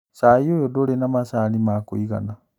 Cai ũy ndũrĩ na macani ma kũigana